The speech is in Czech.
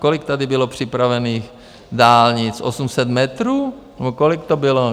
Kolik tady bylo připravených dálnic - 800 metrů nebo kolik to bylo?